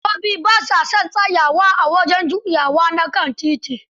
Direbobi ba sa son tsayawa a wajen juyawa na kan titi.